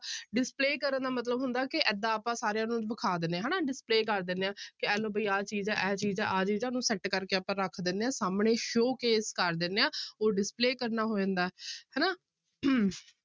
Display ਕਰਨ ਦਾ ਮਤਲਬ ਹੁੰਦਾ ਕਿ ਏਦਾਂ ਆਪਾਂ ਸਾਰਿਆਂ ਨੂੰ ਵਿਖਾ ਦਿੰਦੇ ਹਾਂ ਹਨਾ display ਕਰ ਦਿੰਦੇ ਹਾਂ ਕਹਿ ਲਓ ਵੀ ਆਹ ਚੀਜ਼ ਹੈ, ਇਹ ਚੀਜ਼ ਹੈ, ਆਹ ਚੀਜ਼ ਹੈ ਉਹਨੂੰ set ਕਰਕੇ ਆਪਾਂ ਰੱਖ ਦਿੰਦੇ ਹਾਂ ਸਾਹਮਣੇ show case ਕਰ ਦਿੰਦੇ ਹਾਂ ਉਹ display ਕਰਨਾ ਹੋ ਜਾਂਦਾ ਹੈ ਹਨਾ